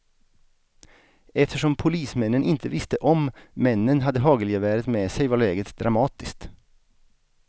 Eftersom polismännen inte visste om männen hade hagelgeväret med sig var läget dramatiskt.